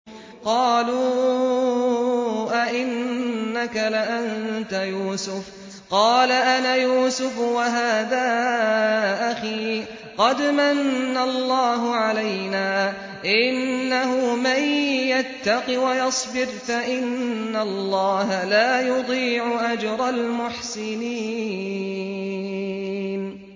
قَالُوا أَإِنَّكَ لَأَنتَ يُوسُفُ ۖ قَالَ أَنَا يُوسُفُ وَهَٰذَا أَخِي ۖ قَدْ مَنَّ اللَّهُ عَلَيْنَا ۖ إِنَّهُ مَن يَتَّقِ وَيَصْبِرْ فَإِنَّ اللَّهَ لَا يُضِيعُ أَجْرَ الْمُحْسِنِينَ